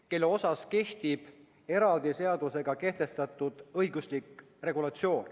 " Talle kehtib eraldi seadusega kehtestatud õiguslik regulatsioon.